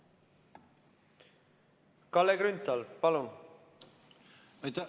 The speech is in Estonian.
Kalle Grünthal, palun!